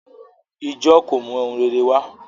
Ijọ́ kò mú ohun rere wá